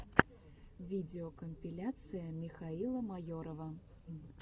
видеокомпиляция михаила майорова